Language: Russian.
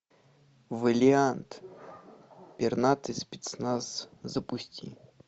вэлиант пернатый спецназ запусти